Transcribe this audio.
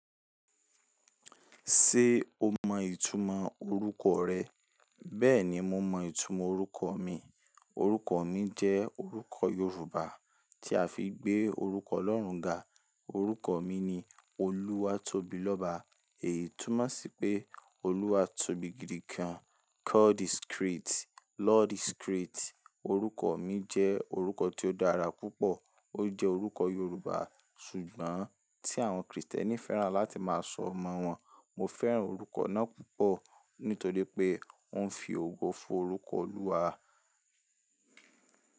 Ṣé o mọ ìtumọ̀ orúkọ rẹ? Bẹ́ẹ̀ni, mo mọ ìtumọ̀ orúkọ mi. Orúkọ mi jẹ́ orúkọ Yorùbá tí a fi gbé orúkọ Ọlọ́run ga. Orúkọ mi ni Oluwatobiloba. Èyí túmọ̀ sí pé Olúwa tóbi gidigan. God is great, Lord is great. Orúkọ mi jẹ́ orúkọ tí ó dára púpọ̀. Ó jẹ́ orúkọ Yorùbá ṣùgbọ́n tí àwọn Krìstẹ́nì fẹ́ràn láti máa sọ omọ́ wọn. Mo fẹ́ràn orúkọ náà púpọ̀ nítorí pé ó ń fi ògo fun orúkọ Ọlúwa.